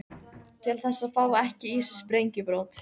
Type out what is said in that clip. Til þess að fá ekki í sig sprengjubrot.